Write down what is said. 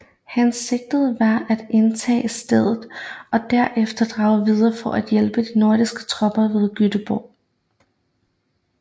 Hensigten var at indtage staden og der efter drage videre for at hjælpe de norske tropper ved Göteborg